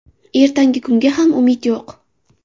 Ertangi kunga ham umid yo‘q.